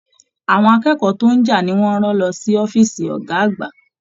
Àwọn akẹ́kọ̀ọ́ tó n já ni wọn rán lọ sí ọ̀fiísí ọgá àgbà.